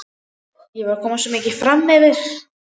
Ég var komin svo mikið framyfir.